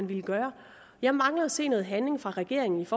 ville gøre jeg mangler at se noget handling fra regeringens